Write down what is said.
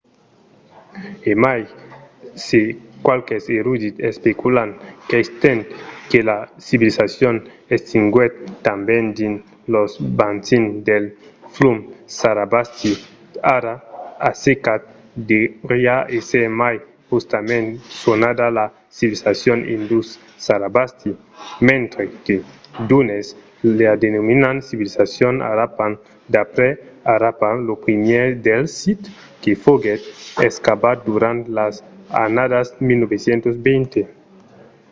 e mai se qualques erudits especulan qu'estent que la civilizacion existiguèt tanben dins los bacins del flum sarasvati ara assecat deuriá èsser mai justament sonada la civilizacion indus-sarasvati mentre que d’unes la denominan civilizacion harappan d'après harappa lo primièr dels sits que foguèt excavat durant las annadas 1920